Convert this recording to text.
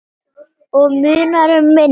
Og munar um minna.